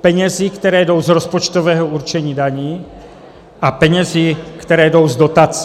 penězi, které jdou z rozpočtového určení daní, a penězi, které jdou z dotací.